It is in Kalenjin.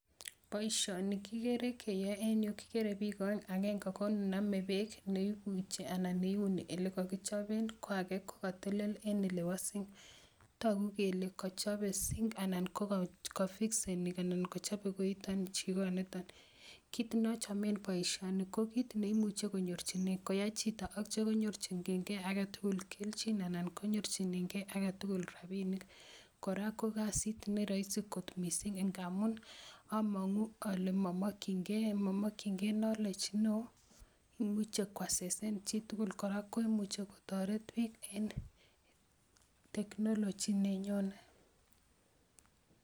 Poishoni kikere keyae en yu, kikere piik aeng' aenge ko ne name peek ne ipuchi anan ne iuni ole kakichopen, ko age ko katetele en ole wasee. Tagu kole kachope [cc] sink anan ko kafikseni anan ko kachope koitan, chikanitan. Kiit ne achame poishoni ko kit ne imuch konyoechinei ngoyai chito atia konyorchingei age tugul. kelchin anan kpmuorchingei age tugul rapinik. Kora ko kasit ne raisi kot missing' ngamun amang'u ale ma makchingei knowledge ne oo, imuchi koasesan chi tugul, Kora ko imuchi ko taret pik en technology ne nyone.